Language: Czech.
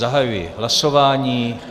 Zahajuji hlasování.